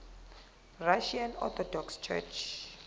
russian orthodox church